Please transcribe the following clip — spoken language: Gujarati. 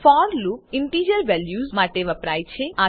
ફોર લુપ ઈન્ટીજર વેલ્યુઝ માટે વપરાય છે